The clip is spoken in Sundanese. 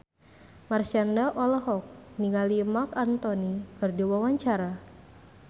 Marshanda olohok ningali Marc Anthony keur diwawancara